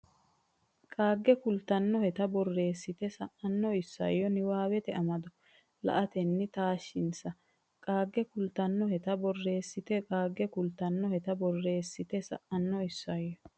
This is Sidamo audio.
qaagge kultannoheta borreessite sa ino isayyo niwaawete amado la atenni taashshinsa qaagge kultannoheta borreessite qaagge kultannoheta borreessite sa ino isayyo.